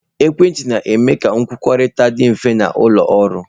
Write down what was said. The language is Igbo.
Ekwentị na-eme ka nkwukọrịta dị mfe n'ụlọ ọrụ.